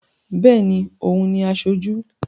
Béèni, o ń ni aṣojú